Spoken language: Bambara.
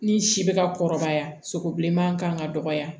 Ni si bɛ ka kɔrɔbaya sogo bilenman kan ka dɔgɔya